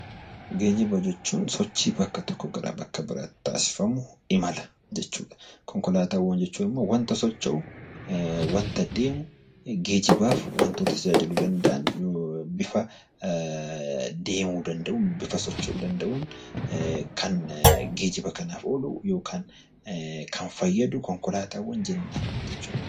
Geejiba jechuun sochii bakka tokkoo bakka biraatti taasifamuuf imala jechuudha. Konkolaataa jechuun immoo waanta socho'u, waanta deemu, geejibaaf waantota tajaajiluu danda'an yookaan immoo bifa deemuu danda'uun yookaan socho'uu danda'uun kan geejiba kanaaf oolu yookiin kan fayyadu konkolaataawwan jenna.